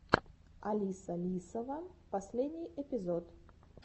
алиса лисова последний эпизод